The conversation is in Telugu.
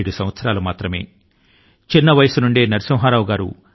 గారి వయస్సు 17 ఏళ్లే